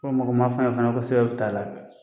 Ko mɔgɔ ma fɔn ye fɛnɛ ko Sew taa la.